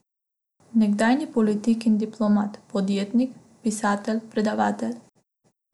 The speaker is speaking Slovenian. Nekdanji politik in diplomat, podjetnik, pisatelj, predavatelj.